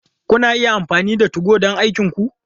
Kuna iya amfani da 2go don aikinku.